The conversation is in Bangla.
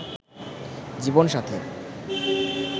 জীবন সাথী